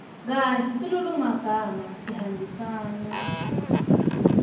kahle silulumagama sihambisana